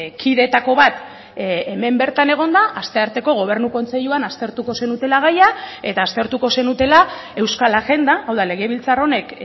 kideetako bat hemen bertan egonda astearteko gobernu kontseiluan aztertuko zenutela gaia eta aztertuko zenutela euskal agenda hau da legebiltzar honek